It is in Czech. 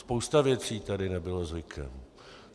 Spousta věcí tady nebyla zvykem.